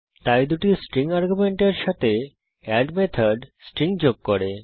তাই দুটি স্ট্রিং আর্গুমেন্টের সাথে এড মেথড স্ট্রিং যোগ করে